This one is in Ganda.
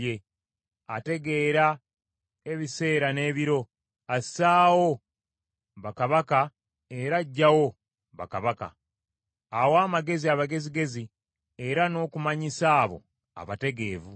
Ategeera ebiseera n’ebiro; assaawo bakabaka era aggyawo bakabaka; awa amagezi abagezigezi, era n’okumanyisa abo abategeevu.